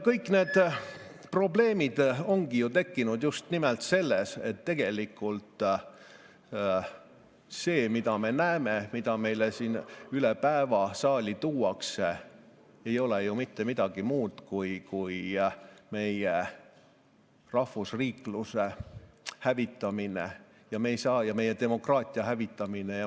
Kõik need probleemid ongi ju tekkinud just nimelt sellest, et tegelikult see, mida me näeme, mida meile siin üle päeva saali tuuakse, ei ole ju mitte midagi muud kui meie rahvusriikluse hävitamine ja meie demokraatia hävitamine.